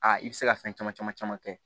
Aa i bɛ se ka fɛn caman caman caman kɛ